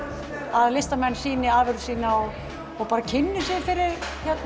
að listamenn sýni afurð sýna og kynni sér fyrir